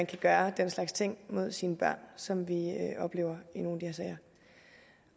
kan gøre den slags ting mod sine børn som vi oplever i nogle